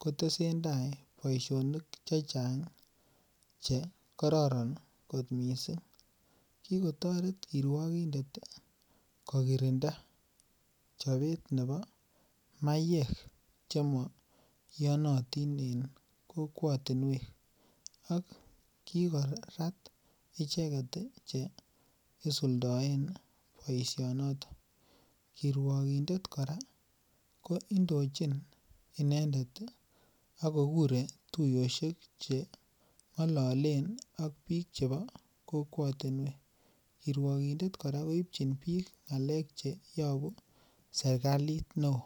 kotesen ndai boisionik checheng ih , chekoraran kot missing. Kikotoret kirugindet kokirinda chobet nebo maiyek chemaiyanatin en kokuatinuek ak kikoyon icheket cheisuldaen boisionotonkiruakindet kora kondochin inendet ih akokure tuyosiek cheng'lalen ak bik chebo kokwotiniek kiruakindet kora keibchin bik ng'alek cheyabu serkalit neo.